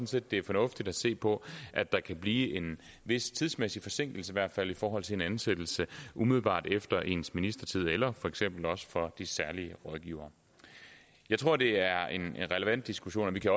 set det er fornuftigt at se på at der kan blive en vis tidsmæssig forsinkelse i hvert fald i forhold til en ansættelse umiddelbart efter ens ministertid eller for eksempel også for de særlige rådgivere jeg tror det er en relevant diskussion og vi kan